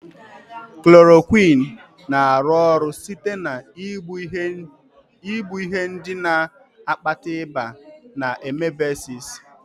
Klorokwịnụ na-arụ ọrụ site na igbu ihe ndị na-akpata ịba na amebịasịs.